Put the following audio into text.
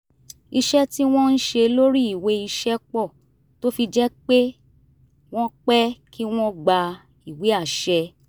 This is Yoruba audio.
ìṣe tí wọ́n ń ṣe lórí ìwé iṣẹ́ pọ̀ tó fi jẹ́ pé wọ́n pẹ́ kí wọ́n gba ìwé àṣẹ